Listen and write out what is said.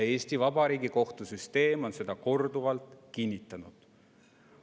Eesti Vabariigi kohtusüsteem on seda korduvalt kinnitanud.